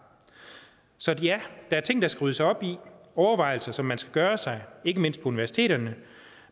så ja der er ting der skal ryddes op i overvejelser som man skal gøre sig ikke mindst på universiteterne